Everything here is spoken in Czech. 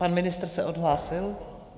Pan ministr se odhlásil?